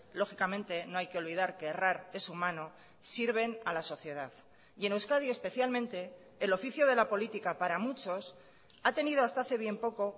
lógicamente no hay que olvidar que errar es humano sirven a la sociedad y en euskadi especialmente el oficio de la política para muchos ha tenido hasta hace bien poco